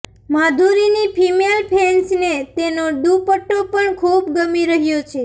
માધુરીની female ફેન્સને તેનો ડુપટ્ટો પણ ખૂબ ગમી રહ્યો છે